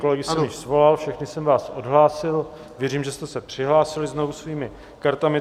Kolegy jsem již svolal, všechny jsem vás odhlásil, věřím, že jste se přihlásili znovu svými kartami.